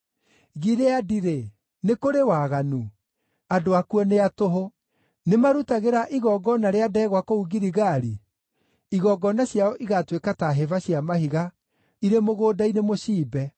Gileadi-rĩ, nĩ kũrĩ waganu? Andũ akuo nĩ a tũhũ! Nĩmarutagĩra igongona rĩa ndegwa kũu Giligali? Igongona ciao igaatuĩka ta hĩba cia mahiga irĩ mũgũnda-inĩ mũciimbe.